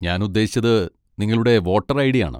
ഞാൻ ഉദ്ദേശിച്ചത് നിങ്ങളുടെ വോട്ടർ ഐ.ഡി.യാണ്.